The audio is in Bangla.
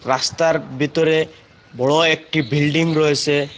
রাস্তার বিতরে বড় একটি বিল্ডিং রয়েসে।